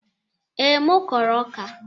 Ee, m kụrụ ọka.